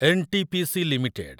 N T P C limited